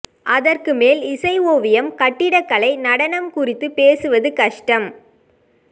அதற்கு மேல் இசை ஓவியம் கட்டிடக்கலை நடனம் குறித்துப் பேசுவது கஷ்டம்